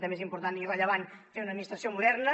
també és important i rellevant fer una administració moderna